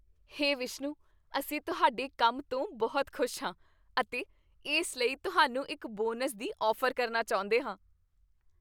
ਹੇ ਵਿਸ਼ਨੂੰ, ਅਸੀਂ ਤੁਹਾਡੇ ਕੰਮ ਤੋਂ ਬਹੁਤ ਖੁਸ਼ ਹਾਂ ਅਤੇ ਇਸ ਲਈ ਤੁਹਾਨੂੰ ਇੱਕ ਬੋਨਸ ਦੀ ਔਫ਼ਰ ਕਰਨਾ ਚਾਹੁੰਦੇ ਹਾਂ।